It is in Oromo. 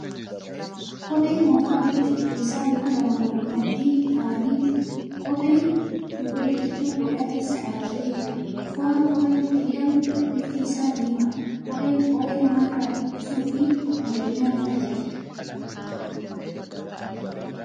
Kophee moofaa bifa cuquliisa luka lamaa wal maddii taa'anii jiru. Kophee duuba biqiltuu qodaa keessa dhaabate jira. Foo'aa kopheen ittiin hidhamu bifti isaa diimadha. Kopheen qoree nama irraa ittisuu fi miidhaginaaf tajaajila.